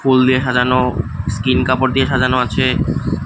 ফুল দিয়ে সাজানো স্কিন কাপড় দিয়ে সাজানো আছে।